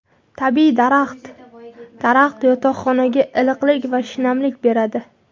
Tabiiy daraxt Daraxt yotoqxonaga iliqlik va shinamlik beradi.